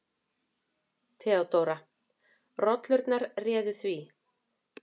THEODÓRA: Rollurnar réðu því.